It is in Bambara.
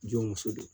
Jɔn muso de